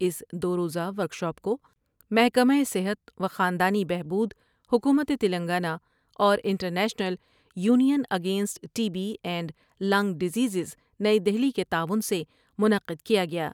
اس دو روزہ ورکشاپ کو محکمہ صحت و خاندانی بہبود حکومت تلنگانہ اور international union against T B and lung diseases نئی دہلی کے تعاون سے منعقد کیا گیا۔